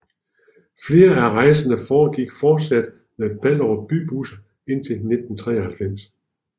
Flere af rejserne foregik fortsat med Ballerup Bybusser indtil 1993